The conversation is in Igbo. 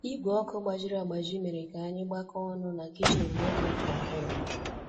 Igwe ọkụ gbajiri agbaji mere ka anyị gbakọọ ọnụ na kichin n'oge Afọ Ọhụrụ